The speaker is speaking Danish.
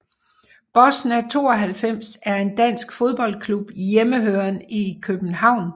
Bosna 92 er en dansk fodboldklub hjemmehørende i København